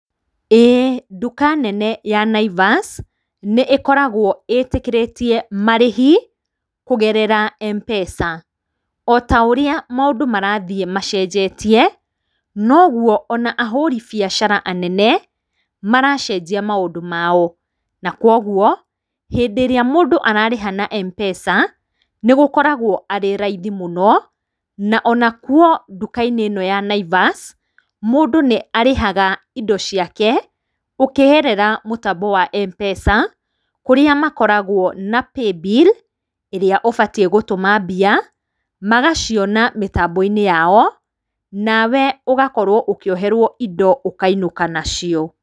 Ĩĩ nduka nene ya Naivas nĩ ĩkoragwo ĩtĩkĩrĩtie marĩhi kũgerera Mpesa. Ota ũrĩa maũndũ marathiĩ macenjetie, noguo ona ahũri biacara anene maracenjia maũndũ maao, na kwa ũguo, hĩndĩ ĩrĩa mũndũ ararĩha na Mpesa, nĩgũkoragwo arĩ raithi mũno, na onakuo nduka-inĩ ĩno ya Naivas, mũndũ nĩ arĩhaga indo ciake ũkĩgerera mũtambo wa Mpesa, kũrĩa makoragwo na paybill ĩrĩa ũbatiĩ gũtũma mbia, magaciona mĩtambo-inĩ yao, nawe ũgakorwo ũkĩoherwo indo ũkainũka nacio.